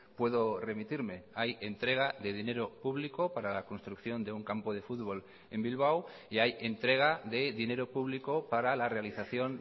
puedo remitirme hay entrega de dinero público para la construcción de un campo de futbol en bilbao y hay entrega de dinero público para la realización